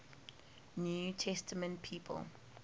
new testament people